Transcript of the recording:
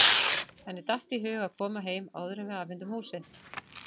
Henni datt í hug að koma heim áður en við afhendum húsið.